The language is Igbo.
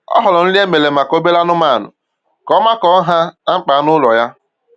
O họọrọ nri e mere maka obere anụmanụ ka ọ makọọ nha na mkpa anụ ụlọ ya